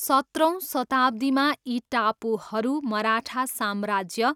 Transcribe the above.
सत्रौँ शताब्दीमा यी टापुहरू मराठा साम्राज्य